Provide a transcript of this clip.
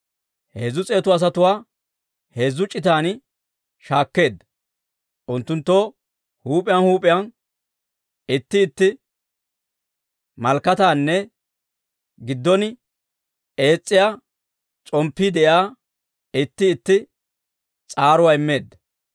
Heezzu s'eetu asatuwaa heezzu c'itan shaakkeedda; unttunttoo huup'iyaan huup'iyaan itti itti malakkataanne giddon ees's'iyaa s'omppii de'iyaa itti itti s'aaruwaa immeedda.